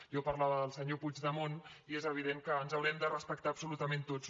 jo parlava del senyor puigdemont i és evident que ens haurem de respectar absolutament tots